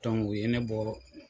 o ye ne bɔ